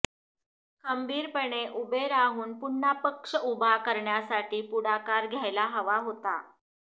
खंबीरपणे उभे राहून पुन्हा पक्ष उभा करण्यासाठी पुढाकार घ्यायला हवा होता